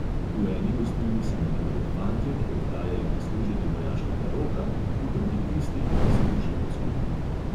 V eni gostilni se nalivajo fantje, ki odhajajo na služenje vojaškega roka, v drugi tisti, ki so ga že odslužili.